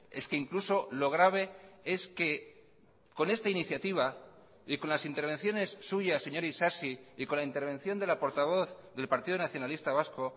es que incluso lo grave es que con esta iniciativa y con las intervenciones suyas señor isasi y con la intervención de la portavoz del partido nacionalista vasco